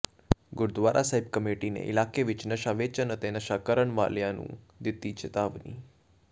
Gurdwara Sahib committee ਨੇ ਇਲਾਕੇ ਵਿਚ ਨਸ਼ਾ ਵੇਚਣ ਅਤੇ ਨਸ਼ਾ ਕਰਨ ਵਾਲਿਆਂ ਨੂੰ ਦਿੱਤੀ ਚਿਤਾਵਨੀ